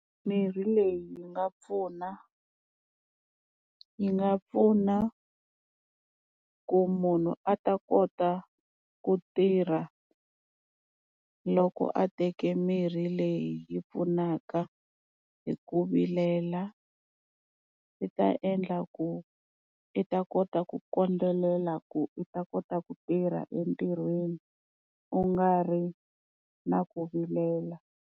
Mirhi leyi yi nga pfuna, yi nga pfuna ku munhu a ta kota ku tirha loko a teke mirhi leyi yi pfunaka hi ku vilela. Swi ta endla ku i ta kota ku kondelela, ku u ta kota ku tirha entirhweni u nga ri na ku vilela.